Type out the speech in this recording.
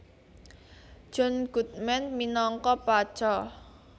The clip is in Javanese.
John Goodman minangka Pacha